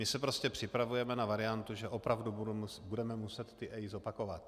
My se prostě připravujeme na variantu, že opravdu budeme muset ty EIA zopakovat.